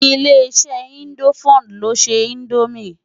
Ilé-iṣè Indófúd ló nṣé Indómi